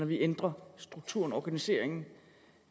vi ændrer strukturen organiseringen